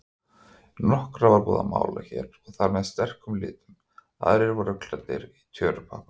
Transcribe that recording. Nokkra var búið að mála hér og þar með sterkum litum, aðrir voru klæddir tjörupappa.